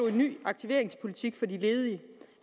en ny aktiveringspolitik for de ledige